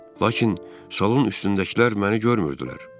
Lakin salon üstündəkilər məni görmürdülər.